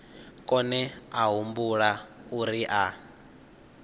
kone a humbula uri a